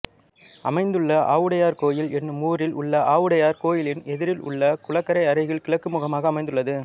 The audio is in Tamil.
அமைந்துள்ள ஆவுடையார்கோயில் என்னும் ஊரில் உள்ள ஆவுடையார் கோயிலின் எதிரில் உள்ள குளக்கரை அருகில் கிழக்கு முகமாக அமைந்துள்ளது